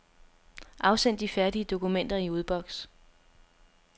Afsend de færdige dokumenter i udboks.